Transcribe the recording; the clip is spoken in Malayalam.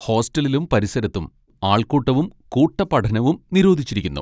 ഹോസ്റ്റലിലും പരിസരത്തും ആൾക്കൂട്ടവും കൂട്ട പഠനവും നിരോധിച്ചിരിക്കുന്നു.